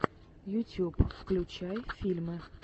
ютьюб включай фильмы